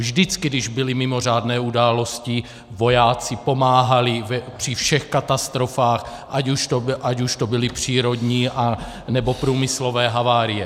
Vždycky, když byly mimořádné události, vojáci pomáhali při všech katastrofách, ať už to byly přírodní, nebo průmyslové havárie.